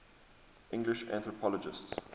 english anthropologists